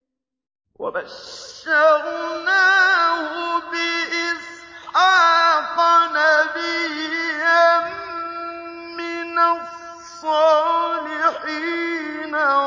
وَبَشَّرْنَاهُ بِإِسْحَاقَ نَبِيًّا مِّنَ الصَّالِحِينَ